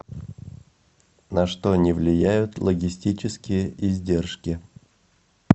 на что не влияют логистические издержки